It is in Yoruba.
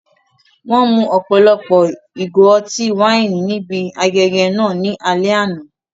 Wọ́n mu ọ̀pọ̀lọpọ̀ ìgò ọtí wáìnì níbi ayẹyẹ náà ní alẹ́ àná.